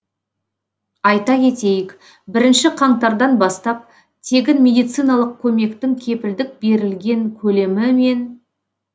айта кетейік бірінші қаңтардан бастап тегін медициналық көмектің кепілдік берілген көлемі мен